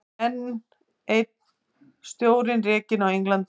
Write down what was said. Enn einn stjórinn rekinn á Englandi